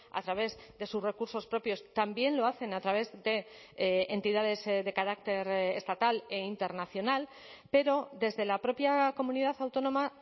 a través de sus recursos propios también lo hacen a través de entidades de carácter estatal e internacional pero desde la propia comunidad autónoma